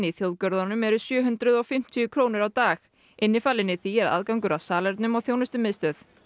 í þjóðgörðunum eru sjö hundruð og fimmtíu krónur á dag innifalinn í því er aðgangur að salernum og þjónustumiðstöð